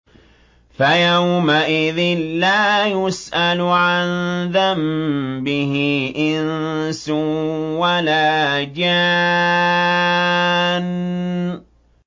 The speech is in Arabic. فَيَوْمَئِذٍ لَّا يُسْأَلُ عَن ذَنبِهِ إِنسٌ وَلَا جَانٌّ